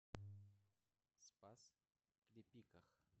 спас клепиках